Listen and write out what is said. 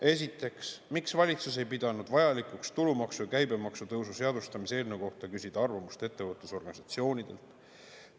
Esiteks, miks valitsus ei pidanud vajalikuks tulumaksu ja käibemaksu tõusu seadustamise eelnõu kohta küsida arvamust ettevõtlusorganisatsioonidelt?